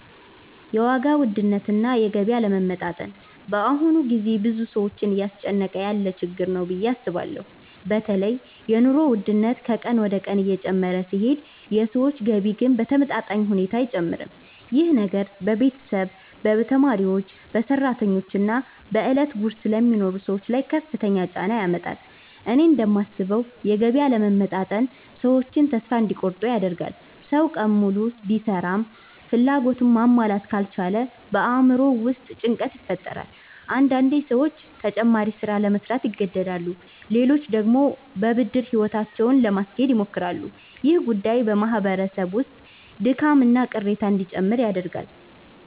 የዋጋ ውድነትና የገቢ አለመመጣጠን በአሁኑ ጊዜ ብዙ ሰዎችን እያስጨነቀ ያለ ችግር ነው ብዬ አስባለሁ። በተለይ የኑሮ ውድነት ከቀን ወደ ቀን እየጨመረ ሲሄድ የሰዎች ገቢ ግን በተመጣጣኝ ሁኔታ አይጨምርም። ይህ ነገር በቤተሰብ፣ በተማሪዎች፣ በሰራተኞች እና በዕለት ጉርስ ለሚኖሩ ሰዎች ላይ ከፍተኛ ጫና ያመጣል። እኔ እንደማስበው የገቢ አለመመጣጠን ሰዎችን ተስፋ እንዲቆርጡ ያደርጋል። ሰው ቀን ሙሉ ቢሰራም ፍላጎቱን ማሟላት ካልቻለ በአእምሮው ውስጥ ጭንቀት ይፈጠራል። አንዳንዴ ሰዎች ተጨማሪ ሥራ ለመሥራት ይገደዳሉ፣ ሌሎች ደግሞ በብድር ሕይወታቸውን ለማስኬድ ይሞክራሉ። ይህ ጉዳይ በማህበረሰብ ውስጥ ድካምና ቅሬታ እንዲጨምር ያደርጋል።